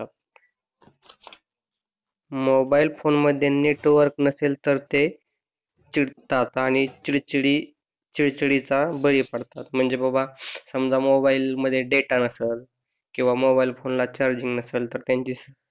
mobile फोनमध्ये network नसेल तर ते चिडतात आणि चिडचिडी चिडचिडीचा बळी पडतात म्हणजे बघा समजा मोबाईलमध्ये डेटा नसलं किंवा मोबाईल फोनला चार्जिंग नसल तर त्यांची